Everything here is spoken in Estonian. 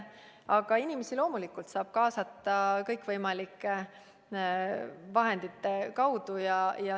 Aga inimesi loomulikult saab kaasata kõikvõimalike vahendite kaudu.